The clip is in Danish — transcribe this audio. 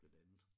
Blandt andet